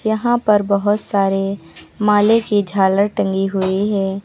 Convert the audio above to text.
यहां पर बहोत सारे मालें की झालर टंगी हुई हैं।